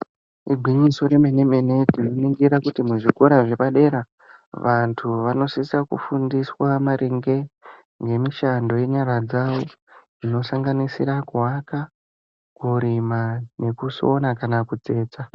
Igwinyiso remene-mene tinoningira kuti muzvikora zvepadera. Vantu vanosisa kufundiswa maringe nemishando yenyara dzavo zvinosanganisira kuwaka, kumurima nekusona kana kutsetsa.